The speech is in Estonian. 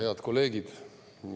Head kolleegid!